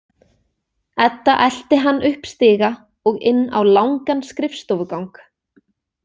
Edda elti hann upp stiga og inn á langan skrifstofugang.